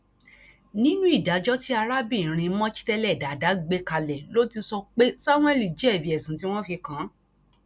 nínú ìdájọ tí arábìnrin mojtele dada gbé kalẹ ló ti sọ pé samuel jẹbi ẹsùn tí wọn fi kàn án